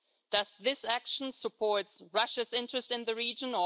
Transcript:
Does this action support Russia's interest in the region?